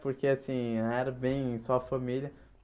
Porque, assim, era bem só família.